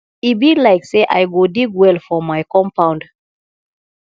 e be like say i go dig well for my compound